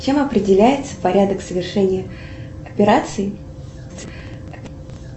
чем определяется порядок совершения операции